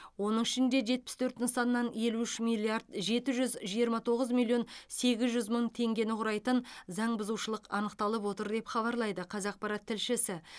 оның ішінде жетпіс төрт нысаннан елу үш миллиард жеті жүз жиырма тоғыз миллион сегіз жүз мың теңгені құрайтын заңбұзушылық анықталып отыр деп хабарлайды қазақпарат тілшісі